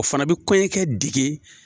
O fana bɛ kɔɲɔkɛ dege